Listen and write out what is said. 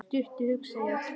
Stattu, hugsa ég.